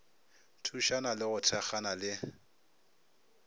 thušana le go thekgana le